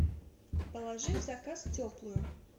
положи в заказ теплую